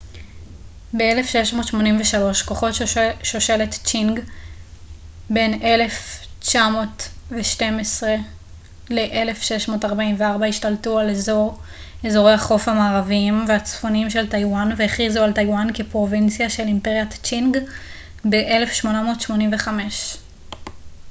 ב-1683 כוחות שושלת צ'ינג 1912-1644 השתלטו על אזורי החוף המערביים והצפוניים של טייוואן והכריזו על טייוואן כפרובינציה של אימפריית צ'ינג ב-1885